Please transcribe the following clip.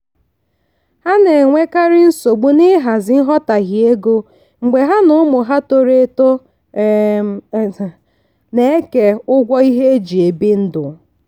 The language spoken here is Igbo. ha na-enwekarị nsogbu n'ịhazi nghọtahie ego mgbe ha na ụmụ ha toro eto um na-eke ụgwọ ihe eji ebi ndụ.